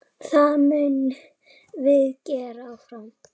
Það munum við gera áfram.